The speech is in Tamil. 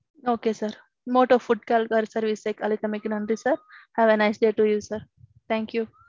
Okay sir. Motto food call service க்குஅழைத்தமைக்கு நன்றி sir. Have a nice day to you sir. Thank you.